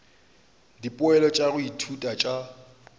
dipoelo tša go ithuta tša